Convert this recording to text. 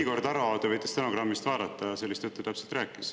Igor Taro, te võite stenogrammist vaadata, sellist juttu täpselt rääkis.